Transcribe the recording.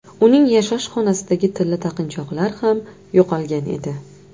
Uning yashash xonasidagi tilla taqinchoqlar ham yo‘qolgan edi.